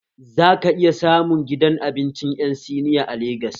Za ka iya samun gidan abinci ƴan siniya a Legas